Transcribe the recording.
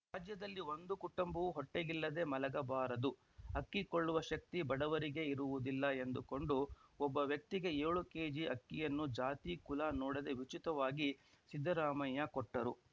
ರಾಜ್ಯದಲ್ಲಿ ಒಂದು ಕುಟುಂಬವೂ ಹೊಟ್ಟೆಗಿಲ್ಲದೆ ಮಲಗಬಾರದು ಅಕ್ಕಿ ಕೊಳ್ಳುವ ಶಕ್ತಿ ಬಡವರಿಗೆ ಇರುವುದಿಲ್ಲ ಎಂದುಕೊಂಡು ಒಬ್ಬ ವ್ಯಕ್ತಿಗೆ ಯೊಳು ಕೆಜಿ ಅಕ್ಕಿಯನ್ನು ಜಾತಿ ಕುಲ ನೋಡದೆ ಉಚಿತವಾಗಿ ಸಿದ್ದರಾಮಯ್ಯ ಕೊಟ್ಟರು